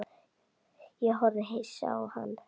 Ég horfði hissa á hann.